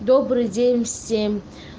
добрый день всем